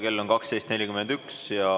Kell on 12.41.